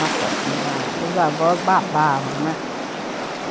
Nossa senhora, os avós babavam, né?